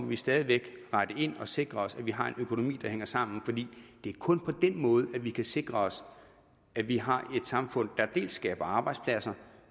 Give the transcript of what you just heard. vi stadig væk rette ind og sikre os at vi har en økonomi der hænger sammen fordi det er kun på den måde at vi kan sikre os at vi har et samfund der dels skaber arbejdspladser